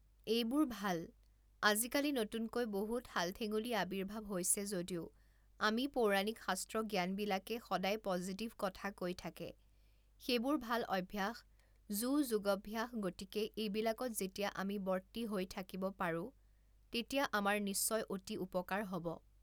এইবোৰ ভাল, আজিকালি নতুনকৈ বহু ঠাল ঠেঙুলি আৱিৰ্ভাৱ হৈছে যদিও আমি পৌৰাণিক শাস্ত্ৰ জ্ঞানবিলাকে সদায় পজিটিভ কথা কৈ থাকে সেইবোৰ ভাল অভ্যাস যো যোগভ্যাস গতিকে এইবিলাকত যেতিয়া আমি বৰ্তি হৈ থাকিব পাৰোঁ তেতিয়া আমাৰ নিশ্চয় অতি উপকাৰ হ'ব